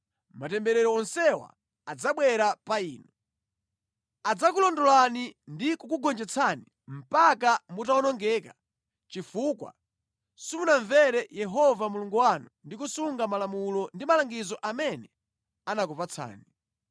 Matemberero onsewa adzabwera pa inu. Adzakulondolani ndi kukugonjetsani mpaka mutawonongeka, chifukwa simunamvere Yehova Mulungu wanu ndi kusunga malamulo ndi malangizo amene anakupatsani.